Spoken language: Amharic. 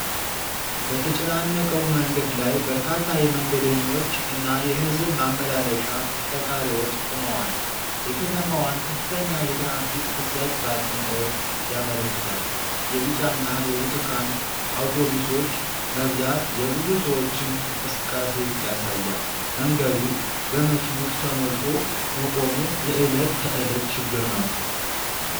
በተጨናነቀው መንገድ ላይ በርካታ የመንገደኞች እና የህዝብ ማመላለሻ ተሽከርካሪዎች ቆመዋል። የከተማዋን ከፍተኛ የትራፊክ ፍሰት በአጽንኦት ያመለክታል። የቢጫና የብርቱካን አውቶቡሶች መብዛት የብዙ ሰዎችን እንቅስቃሴ ያሳያል። መንገዱ በመኪኖች ተሞልቶ መቆሙ የእለት ተእለት ችግር ነው